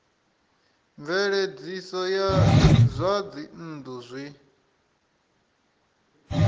mveledziso ya zwa dzinnu zwi